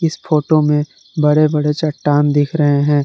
इस फोटो में बड़े बड़े चट्टान दिख रहे है।